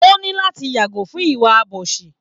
O ní láti yàgò fún ìwà àbòsí